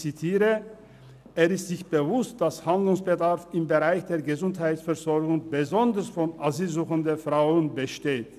«Er ist sich bewusst, dass Handlungsbedarf im Bereich der Gesundheitsversorgung insbesondere von asylsuchenden Frauen besteht.